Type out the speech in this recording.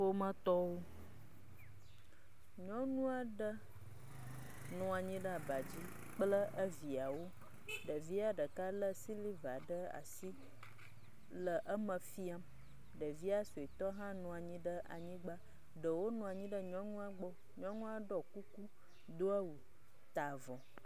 Ƒometɔwo, nyɔnu aɖe nɔ anyi ɖe aba dzi kple eviawo, ɖevia ɖeka lé siliva ɖe asi le eme… ɖevia suetɔ hã nɔ anyigba, ɖewo nɔ anyi ɖe nyɔnua gbɔ, nyɔnua ɖɔ kuku, do awu, ta avɔ.